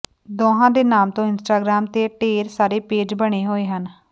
ਦੋਹਾਂ ਦੇ ਨਾਮ ਤੋਂ ਇੰਸਟਾਗ੍ਰਾਮ ਤੇ ਢੇਰ ਸਾਰੇ ਪੇਜ ਬਣੇ ਹੋਏ ਹਨ